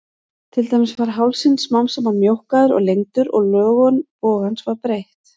Til dæmis var hálsinn smám saman mjókkaður og lengdur og lögun bogans var breytt.